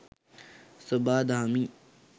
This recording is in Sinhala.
සොබා දහමින්